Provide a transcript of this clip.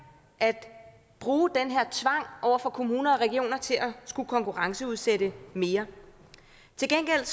at bruge den her tvang over for kommuner og regioner til at skulle konkurrenceudsætte mere til gengæld